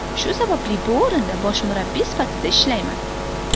Shu sababli bu o‘rinda bosh murabbiy sifatida ishlayman.